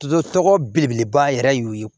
So tɔgɔ belebeleba yɛrɛ ye o ye